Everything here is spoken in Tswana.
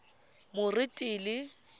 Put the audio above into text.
moretele